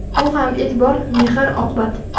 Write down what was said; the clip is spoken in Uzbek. Bu ham e’tibor, mehr-oqibat.